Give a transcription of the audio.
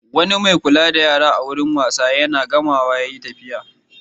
Wani mai kula da yara a wurin wasan yara na Gama ya yi tafiya.